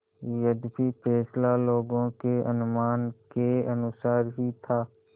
यद्यपि फैसला लोगों के अनुमान के अनुसार ही था